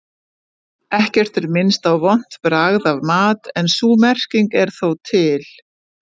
Ekkert er minnst á vont bragð af mat en sú merking er þó til.